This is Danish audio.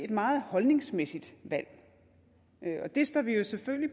et meget holdningsmæssigt valg og det står vi jo selvfølgelig